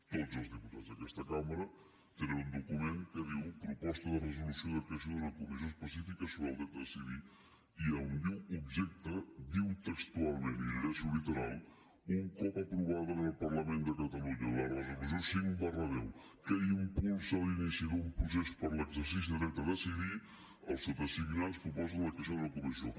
tots els diputats d’aquesta cambra tenen un document que diu proposta de resolució de creació d’una comissió específica sobre el dret a decidir i on diu objecte diu textualment i ho llegeixo literal un cop aprovada en el parlament de catalunya la resolució cinc x que impulsa l’inici d’un procés per a l’exercici del dret a decidir els sotasignats proposen la creació d’una comissió